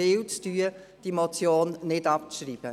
Ich bitte Sie, diese Motion nicht abzuschreiben.